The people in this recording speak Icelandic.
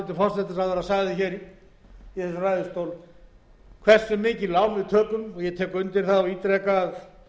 hversu stórt lán við tökum og ég tek undir það og ítreka að